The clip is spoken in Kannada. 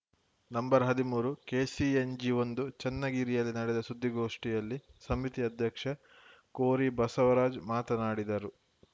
ನಂಬರ್ ಹದಿಮೂರು ಕೆಸಿಎನ್ಜಿ ಒಂದು ಚನ್ನಗಿರಿಯಲ್ಲಿ ನಡೆದ ಸುದ್ದಿಗೋಷ್ಠಿಯಲ್ಲಿ ಸಮಿತಿ ಅಧ್ಯಕ್ಷ ಕೋರಿ ಬಸವರಾಜ್‌ ಮಾತನಾಡಿದರು